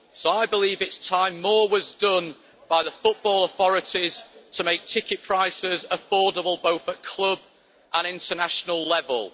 So I believe it's time more was done by the football authorities to make ticket prices affordable both at club and international level.